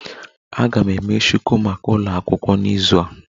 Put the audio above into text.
Aga m eme shuku maka ụlọ akwụkwọ n'izu a